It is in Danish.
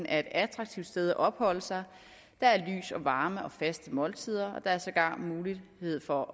er et attraktivt sted at opholde sig der er lys og varme og faste måltider og der er sågar mulighed for